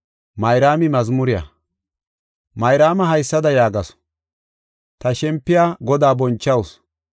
Mayraama haysada yaagasu: “Ta shempiya Godaa bonchawusu,